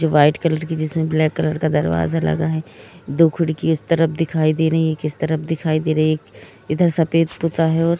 जो white colour की जिस मे ब्लैक कलर का दरवाजा लगा हे दो खिड़की उस तरफ दिखाई दे रही हे किस तरफ दिखाई दे रही हे इधर सफेद पोता हे।